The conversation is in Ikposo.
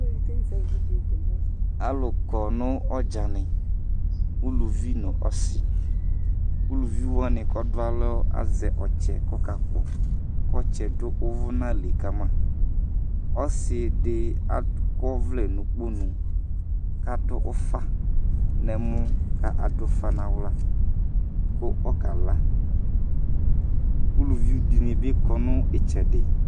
Alu kɔŋʋ ɔdzani: uluvi nu ɔsi Uluviʋ ku ɔɖʋalɔ azɛ ɔtsɛ ku ɔkakpɔ ku ɔtsɛ ɖu uvʋnali kama Ɔsiɖi akɔvlɛ nʋikponu ku aɖu ufaŋu ɛmɔ ku aɖufa ŋu aɣla ku ɔkala Uluviʋ ɖìŋíbi kɔŋʋ itsɛɖi